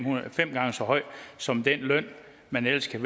gange så høje som den løn man ellers kan